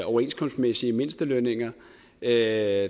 overenskomstmæssige mindstelønninger er